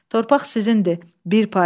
Torpaq sizindir, bir pay.